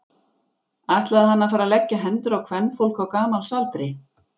Ætlaði hann að fara að leggja hendur á kvenfólk á gamals aldri?